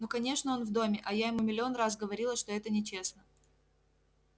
ну конечно он в доме а я ему миллион раз говорила что это нечестно